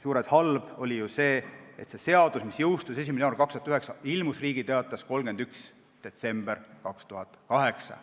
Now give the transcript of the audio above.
Halb oli ju see, et see seadus, mis jõustus 1. jaanuaril 2009, ilmus Riigi Teatajas 31. detsembril 2008.